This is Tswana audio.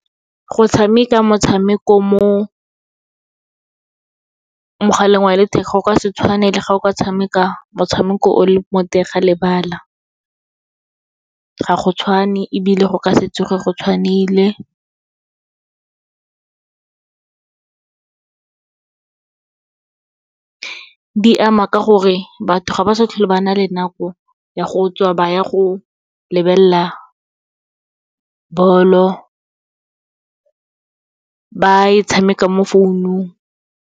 Go tshameka motshameko mo mogaleng wa letheka, go ka se tshwane le ga o ka tshameka motshameko o le mo teng ga lebala, ga go tshwane ebile go ka se tsoge go tshwanile. Di ama ka gore batho ga ba sa tlhole ba na le nako ya go tswa ba ya go lebelela bolo, ba e tshameka mo founung.